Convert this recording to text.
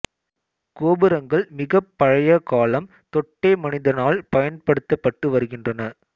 கோபுரங்கள் மிகப் பழைய காலம் தொட்டே மனிதனால் பயன்படுத்தப்பட்டு வருகின்றன